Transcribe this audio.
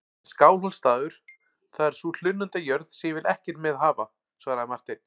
En Skálholtsstaður, það er sú hlunnindajörð sem ég vil ekkert með hafa, svaraði Marteinn.